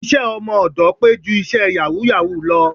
Iṣẹ́ ọmọ ọ̀dọ̀ pé ju iṣẹ́ yàwúù-yàwúù lọ